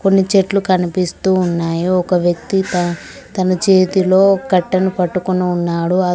కొన్ని చెట్లు కనిపిస్తూ ఉన్నాయి ఒక వ్యకి త తన చేతిలో కట్టెను పట్టుకొని ఉన్నాడు అద్--